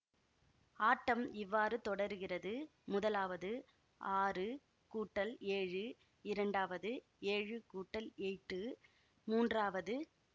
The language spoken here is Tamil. ஆட்டம் இவ்வாறு தொடருகிறது முதலாவது ஆறு கூட்டல் ஏழு இரண்டாவது ஏழு கூட்டல் எய்ட்டு மூன்றாவது